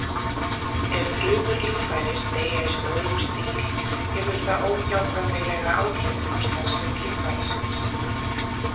Ef frumur líffæris deyja í stórum stíl hefur það óhjákvæmilega áhrif á starfsemi líffærisins.